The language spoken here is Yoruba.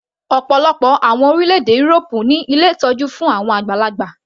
Ọ̀pọ̀lọpọ̀ àwọn orílẹ̀-èdè írópù ní ilé ìtọ́jú fún àwọn àgbàlagbà.